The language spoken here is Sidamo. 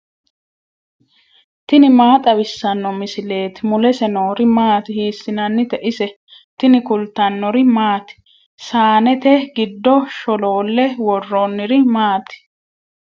tini maa xawissanno misileeti ? mulese noori maati ? hiissinannite ise ? tini kultannori maati? saannette giddo sholoolle worooniri maati?